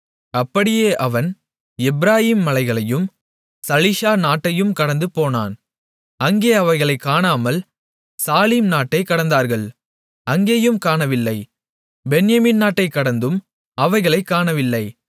அப்படியே அவன் எப்பிராயீம் மலைகளையும் சலீஷா நாட்டையும் கடந்துபோனான் அங்கே அவைகளைக் காணாமல் சாலீம் நாட்டைக் கடந்தார்கள் அங்கேயும் காணவில்லை பென்யமீன் நாட்டைக் கடந்தும் அவைகளைக் காணவில்லை